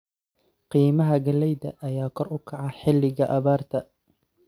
Qiimaha galleyda ayaa kor u kaca xilliga abaarta.